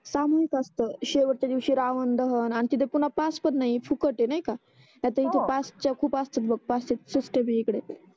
सामुईक असत शेवटच्या दिवसी रावण दहन आमच्या तिथे पुन्हा पास पण नाही फुकट आहे नाही का हो ही तर इथे पास चा खूप असत बा पास च्या फुटे इकडे